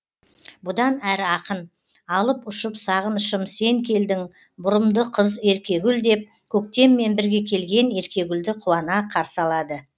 бұдан әрі ақын алып ұшып сағынышым сен келдің бұрымды қыз еркегүл деп көктеммен бірге келген еркегүлді қуана қарсы алады